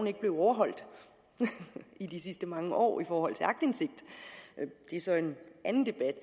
er blevet overholdt i de sidste mange år i forhold til aktindsigt det er så en anden debat